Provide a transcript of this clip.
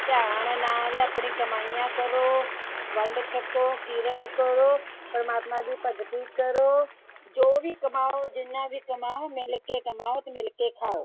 ਧਿਆਨ ਨਾਲ ਆਪਣੀਆਂ ਕਮਾਈਆਂ ਕਰੋ। ਵੰਡ ਛਕੋ, ਕਿਰਤ ਕਰੋ, ਪ੍ਰਮਾਤਮਾ ਦੀ ਭਗਤੀ ਕਰੋ। ਜੋ ਵੀ ਕਮਾਓ ਜਿੰਨਾ ਵੀ ਕਮਾਉ ਮਿਲ ਕੇ ਕਮਾਉ ਅਤੇ ਮਿਲ ਕੇ ਖਾਉ।